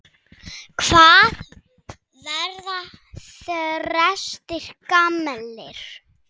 Hvað verða þrestir gamlir?